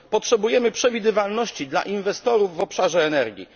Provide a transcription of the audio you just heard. Potrzebujemy przewidywalności dla inwestorów w obszarze energii.